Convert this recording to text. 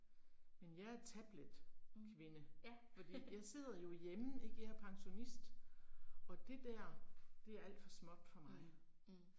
Men jeg er tabletkvinde, fordi jeg sidder jo hjemme ik, jeg er pensionist og det dér, det er alt for småt for mig